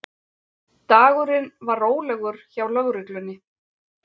Dagurinn var rólegur hjá lögreglunni